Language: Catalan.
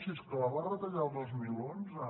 si és que la va retallar el dos mil onze